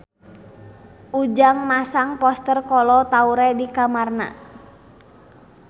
Ujang masang poster Kolo Taure di kamarna